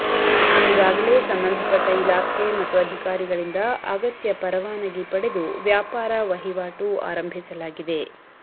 ಈಗಾಗಲೇ ಸಂಬಂಧಪಟ್ಟ ಇಲಾಖೆ ಮತ್ತು ಅಧಿಕಾರಿಗಳಿಂದ ಅಗತ್ಯ ಪರವಾನಗಿ ಪಡೆದು ವ್ಯಾಪಾರ ವಹಿವಾಟು ಆರಂಭಿಸಲಾಗಿದೆ